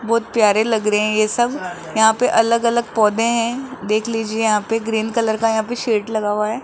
बहोत प्यारे लग रहे है ये सब यहां पे अलग अलग पौधे है देख लीजिए यहां पे ग्रीन कलर का यहां पे सेट लगा हुआ है।